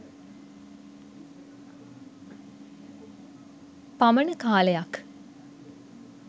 පමණ කාලයක්.